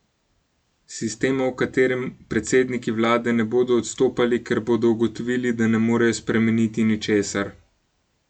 Sistema, v katerem predsedniki vlade ne bodo odstopali, ker bodo ugotovili, da ne morejo spremeniti ničesar.